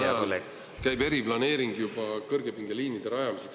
… aga samal ajal käib Saaremaal juba eriplaneering kõrgepingeliinide rajamiseks.